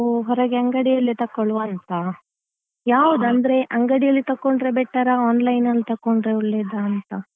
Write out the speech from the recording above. ನಾವು ಹೊರಗೆ ಅಂಗಡಿಯಲ್ಲಿ ತಕ್ಕೊಳ್ಳುವ ಅಂತ ಯಾವ್ದು ಅಂದ್ರೆ ಅಂಗಡಿಯಲ್ಲಿ ತಕ್ಕೊಂಡ್ರೆ better ಆ online ಅಲ್ಲಿ ತಕ್ಕೊಂಡ್ರೆ ಒಳ್ಳೆದಾ ಅಂತ.